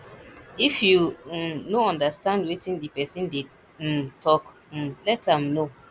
if yu um no understand wetin di pesin dey um tok um let am no